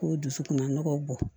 K'o dusukun nɔgɔ bɔ